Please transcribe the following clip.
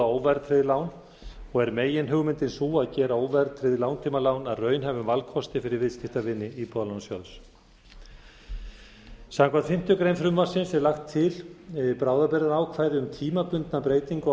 óverðtryggð lán og er meginhugmyndin sú að gera óverðtryggð langtímalán að raunhæfum valkosti fyrir viðskiptavini íbúðalánasjóð samkvæmt fimmtu grein frumvarpsins er lagt til bráðabirgðaákvæði um tímabundna breytingu